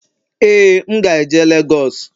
ee, m ga-eje Lagos